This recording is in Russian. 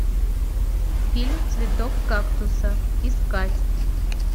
фильм цветок кактуса искать